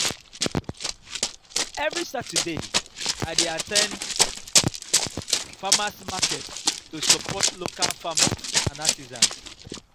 every saturday i dey at ten d farmers' market to support local farmers and artisans.